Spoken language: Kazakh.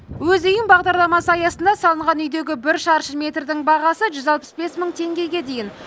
өз үйім бағдарламасы аясында салынған үйдегі бір шаршы метрдің бағасы жүз алпыс бес мың теңгеге дейін